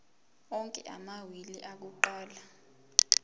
onke amawili akuqala